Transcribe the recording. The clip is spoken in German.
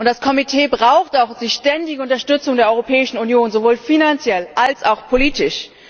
Das Komitee braucht auch die ständige Unterstützung der Europäischen Union sowohl finanziell als auch politisch.